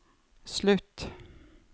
slutt